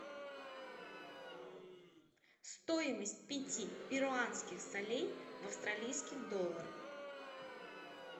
стоимость пяти перуанских солей в австралийских долларах